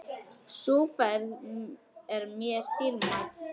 Sú ferð er mér dýrmæt.